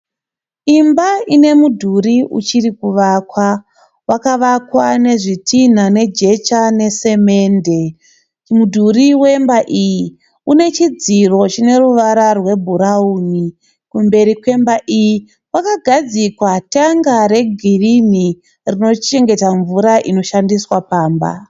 Imba ine mudhuri uchiri kuvakwa. Wakavakwa nezvitinha nejecha nesemende. Mudhuri wemba iyi une chidziro chine ruvara rwebhurawuni. Kumberi kwemba iyi kwakagadzikwa tenga regirinhi rinochengeta mvura inoshandiswa pamba.